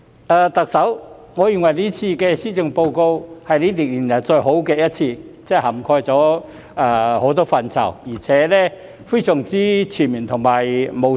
特首，我認為這份施政報告是5年來最好的一份，涵蓋了很多範疇，而且非常全面和務實。